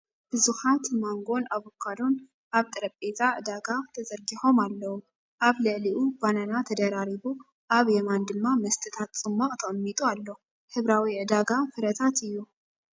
ብዙሓት ማንጎን ኣቮካዶን ኣብ ጠረጴዛ ዕዳጋ ተዘርጊሖም ኣለዉ፤ ኣብ ልዕሊኡ ባናና ተደራሪቡ፡ ኣብ የማን ድማ መስተታት ጽማቝ ተቐሚጡ ኣሎ። ሕብራዊ ዕዳጋ ፍረታት'ዩ።